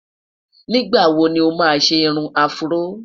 nígbà wò ni oma ṣé irún afro?